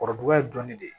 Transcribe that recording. Kɔrɔduga ye dɔnni de ye